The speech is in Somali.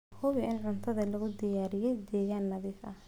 Hubi in cuntada lagu diyaariyay deegaan nadiif ah.